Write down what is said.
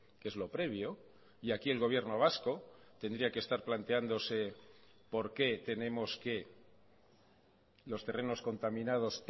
que es lo previo y aquí el gobierno vasco tendría que estar planteándose por qué tenemos que los terrenos contaminados